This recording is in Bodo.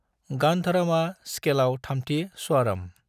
गांधरामा स्खेलाव थामथि स्वारम।